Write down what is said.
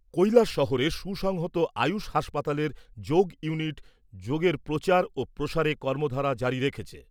কৈলাস শহরের সুসংহত আয়ুষ হাসপাতালের যোগ ইউনিট যোগের প্রচার ও প্রসারে কর্মধারা জারি রেখেছে ।